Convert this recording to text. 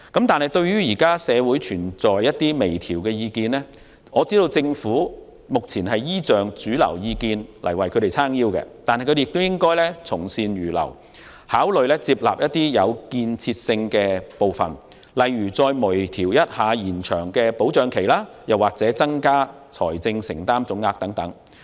對於現時社會上有關微調方案的意見，我知道政府目前有主流意見"撐腰"，但當局也應從善如流，考慮接納具建設性的建議，例如就延長保障期或增加財政承擔總額等作出微調。